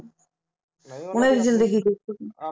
ਉਹਨਾਂ ਦੀ ਜਿੰਦਗੀ